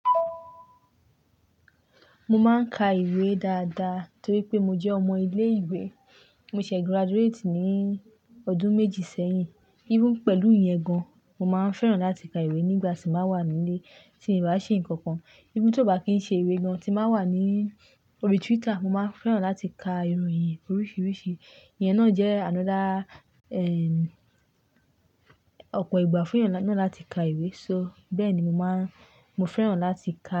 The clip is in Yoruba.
Mo máa ń ka ìwé dáadáa torí pé mo jẹ́ ọmọ ilé ìwé. Mo ṣẹ̀ graduate ní ọdún méjì sẹ́yìn. Even pẹ̀lú ìyẹn gan, mo máa ń fẹ́ràn láti ka ìwé nígbà tí n bá wà nílé tí n bá ṣe'nǹkan kan. Even tóò bá kìí ṣe ìwé gan, tí n bá wà ní ori Twitter, mo máa ń fẹ́ràn láti ka ìròyìn oríṣiríṣi. Ìyẹn náà jẹ́ another, ọ̀pọ̀ ìgbà fún ènìyàn náà láti ka ìwé. So bẹ́ẹ̀ni mo máa ń, mo fẹ́ràn láti ka.